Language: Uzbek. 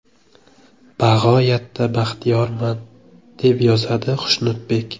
Bag‘oyatda baxtiyorman”, deb yozadi Xushnudbek.